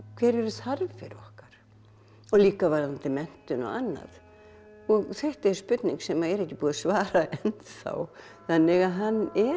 hverjar eru þarfir okkar og líka varðandi menntun og annað þetta er spurning sem er ekki búið að svara ennþá þannig að hann er